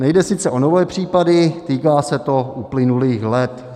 Nejde sice o nové případy, týká se to uplynulých let.